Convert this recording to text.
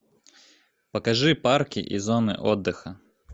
покажи парки и зоны отдыха